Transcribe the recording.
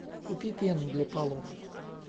купи пену для полов